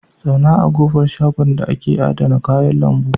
Zauna a ƙofar shagon da ake adana kayan lambu.